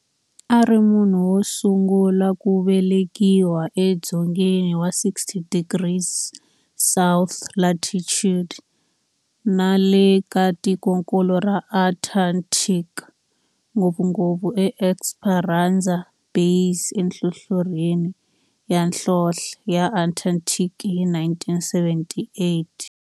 A ri munhu wosungula ku velekiwa e dzongeni wa 60 degrees south latitude nale ka tikonkulu ra Antarctic, ngopfungopfu e Esperanza Base enhlohlorhini ya nhlonhle ya Antarctic hi 1978.